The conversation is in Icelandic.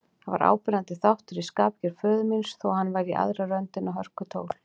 Þetta var áberandi þáttur í skapgerð föður míns, þó hann væri í aðra röndina hörkutól.